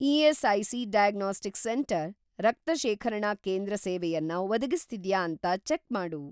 ESIC. Diagnostics centre ರಕ್ತ ಶೇಖರಣಾ ಕೇಂದ್ರ ಸೇವೆಯನ್ನ ಒದಗಿಸ್ತಿದ್ಯಾ ಅಂತ ಚೆಕ್‌ ಮಾಡು.